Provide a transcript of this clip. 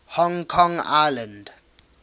hong kong island